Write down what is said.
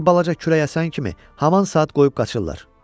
Bir balaca külək əsən kimi haman saat qoyub qaçırlar.